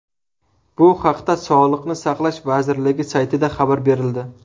Bu haqda sog‘liqni saqlash vazirligi saytida xabar berildi .